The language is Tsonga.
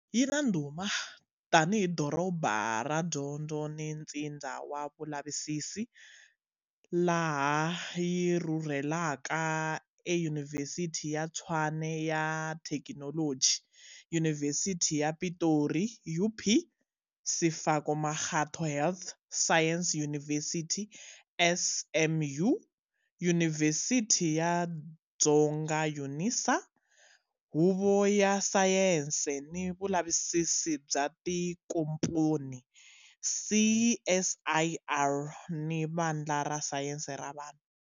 Yi na ndhuma tanihi doroba ra dyondzo ni ntsindza wa vulavisisi, laha yi rhurheleka eYunivhesiti ya Tshwane ya Thekinoloji, TUT, Yunivhesiti ya Pitori, UP, Sefako Magatho Health Science University, SMU, Yunivhesiti ya Afrika-Dzonga, UNISA, Huvo ya Sayense ni Vulavisisi bya tinkomponi, CSIR, ni Vandla ra Sayense ra Vanhu.